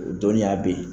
O dɔnniya be yen